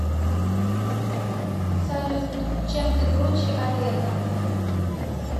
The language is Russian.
салют чем ты круче олега